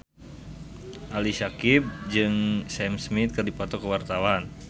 Ali Syakieb jeung Sam Smith keur dipoto ku wartawan